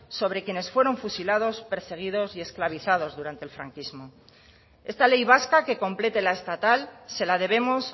sobre quienes fueron fusilados perseguidos y esclavizados durante el franquismo esta ley vasca que complete la estatal se la debemos